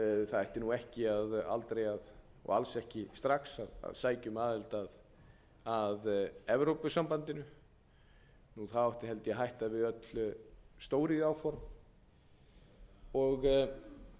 það ætti ekki að vera í samstarfi við alþjóðagjaldeyrissjóðinn það ætti alls ekki strax að sækja um aðild að evrópusambandinu og það átti held ég að hætta við öll